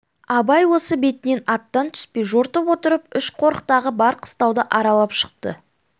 абай осы бетінен аттан түспей жортып отырып үш қорықтағы бар қыстауды аралап шықты